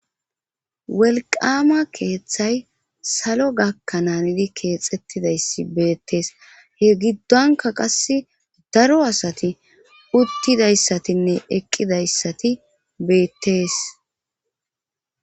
welqama keeththay salo gakkananidi keexettidayssi beettees he giddonka qas daro asati uttidayssatinne eqqidayssati beettees